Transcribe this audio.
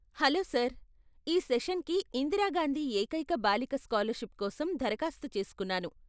Hello sir, ఈ సెషన్కి ఇందిరా గాంధీ ఏకైక బాలిక స్కాలర్షిప్ కోసం దరఖాస్తు చేసుకున్నాను.